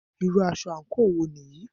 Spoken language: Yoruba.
Irú aṣọ àńkò wo nìyí?